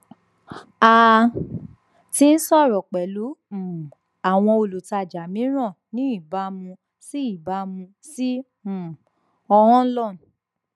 a ti n sọrọ pẹlu um awọn olutaja miiran ni ibamu si ibamu si um ohanlon